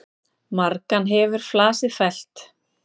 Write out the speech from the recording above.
Margan hefur flasið fellt.